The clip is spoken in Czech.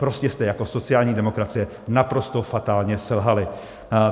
Prostě jste jako sociální demokracie naprosto fatálně selhali.